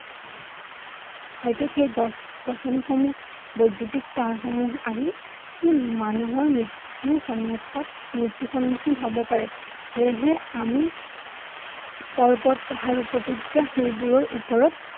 হয়তো সেই গছ-গছনি সমূহ বৈদ্য়ুতিক তাঁৰ সমূহ আহি সি মানুহৰ মৃত্য়ু সন্মুখত মৃত্য়ু সন্মুখিন হব পাৰে সেয়েহে আমি পৰ্বত পাহাৰ সেইবোৰৰ ওপৰত